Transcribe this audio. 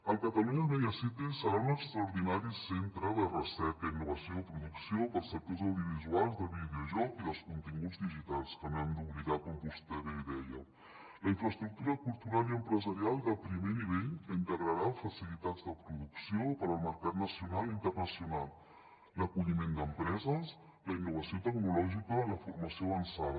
el catalunya media city serà un extraordinari centre de recerca innovació i producció per als sectors audiovisuals de videojocs i dels continguts digitals que no hem d’oblidar com vostè bé deia la infraestructura cultural i empresarial de primer nivell que integrarà facilitats de producció per als mercats nacional i internacional l’acolliment d’empreses la innovació tecnològica la formació avançada